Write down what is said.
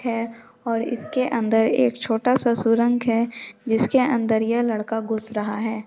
--है और इसके अंदर एक छोटा सा सुरंग है जिसके अंदर यह लड़का घूँस रहा हैं ।